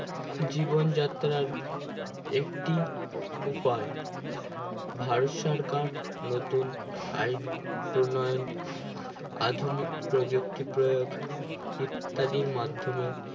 জীবন যাত্রার একটি উপায় ভারত সরকার নতুন আইন উন্নয়ন আধুনিক প্রযোক্তি প্রয়োগ ইত্যাদির মাধ্যমে